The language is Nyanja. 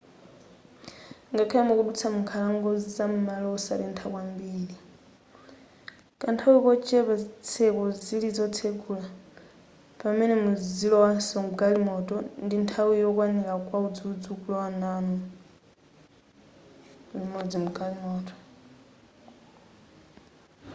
ngakhale mukudutsa m'nkhalango zam'malo osatentha kwambiri kanthawi kochepa zitseko zili zotsegula pamene muzilowaso mgalimoto ndi nthawi yokwanira kwa udzudzu kulowa namu limodzi mgalimoto